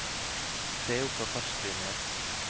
Se opp for fartsblindhet!